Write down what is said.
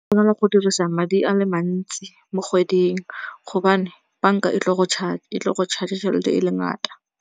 Go na le go dirisa madi a le mantsi mo kgweding gobane banka e tlile go go charge-a tšhelete e le ngata.